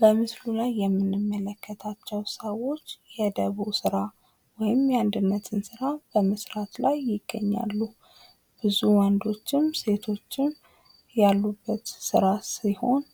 በምስሉ ላይ የምንመለከታቸው ሰዎች የደቦ ስራ ወይም የአንድነትን ስራ በመስራት ላይ ይገኛሉ። ብዙ ወንዶችም ሴቶችም ያሉበት ስራ ሲሆን